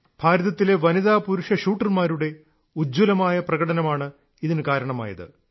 ഭാരതത്തിലെ വനിതാപുരുഷ ഷൂട്ടർമാരുടെ ഉജ്ജ്വലമായ പ്രകടനമാണ് ഇതിന് കാരണമായത്